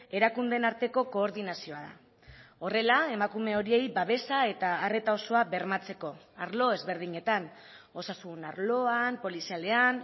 erakundeen arteko koordinazioa da horrela emakume horiei babesa eta arreta osoa bermatzeko arlo ezberdinetan osasun arloan polizialean